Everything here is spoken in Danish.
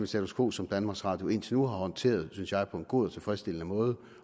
status quo som danmarks radio indtil nu har håndteret synes jeg på en god og tilfredsstillende måde